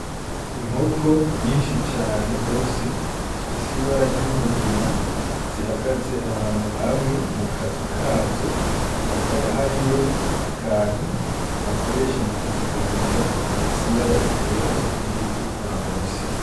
Inkoko nyishi cane gose zifise ibara ry'umugina zihagaze ahantu hamwe mukazu kazo hakaba hariyo akantu bakoresha mukuzigaburira gafise ibara ryera n' iritukura musi.